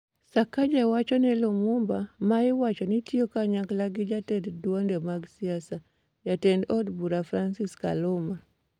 Sakaja wacho ni Limumba ma iwacho ni tiyo kanyakla gi jatend duonde mag siasa, jatend od bura Francis Kaluma ,